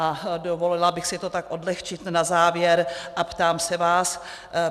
A dovolila bych si to tak odlehčit na závěr a ptám se vás: